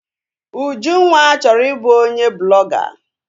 Ujunwa chọrọ i bụ onye blọga